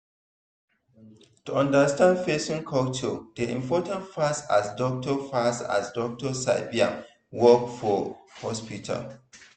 to understand person culture dey important pass as doctor pass as doctor sabi im work for hospital.